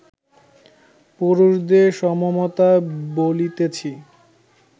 পুরুষদের সমমতা বলিতেছি